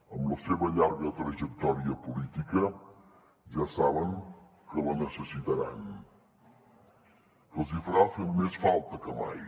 amb la seva llarga trajectòria política ja saben que la necessitaran que els farà més falta que mai